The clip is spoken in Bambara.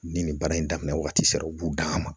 Ni nin baara in daminɛ wagati sera u b'u dan a ma